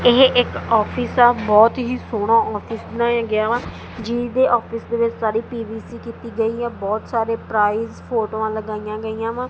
ਇਹ ਇੱਕ ਆਫਿਸ ਆ ਬਹੁਤ ਹੀ ਸੋਹਣਾ ਆਫਿਸ ਬਣਾਇਆ ਗਿਆ ਵਾ ਜਿਦੇ ਆਫਿਸ ਦੇ ਵਿੱਚ ਸਾਰੀ ਪੀ_ਵੀ_ਸੀ ਕੀਤੀ ਗਈ ਐ ਬਹੁਤ ਸਾਰੇ ਪ੍ਰਾਈਜ ਫੋਟੋਆਂ ਲਗਾਈਆਂ ਗਈਆਂ ਵਾ।